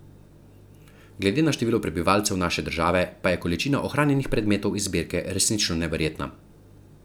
Glede na število prebivalcev naše države pa je količina ohranjenih predmetov iz zbirke resnično neverjetna.